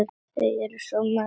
Þau eru svo mörg.